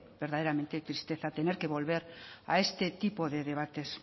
verdaderamente tristeza tener que volver a este tipo de debates